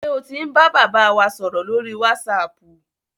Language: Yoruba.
Ṣé o ti ń bàbá wa sọ̀rọ̀ lórí wásaapù?